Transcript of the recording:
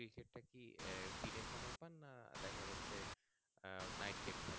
কি দিনে সময় পান না দেখা যাচ্ছে night game খেলতে